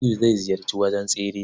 Aliyu zai ziyarci wajen tsere.